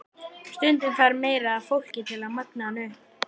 Stundum þarf meira af fólki til að magna hana upp.